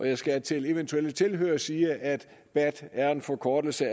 jeg skal til eventuelle tilhørere sige at bat er en forkortelse